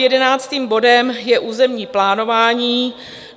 Jedenáctým bodem je územní plánování.